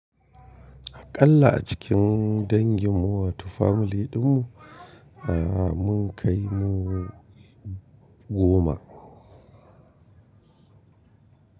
Akalla a cikin dangin mu wato family din mu, eh mun kai mu goma.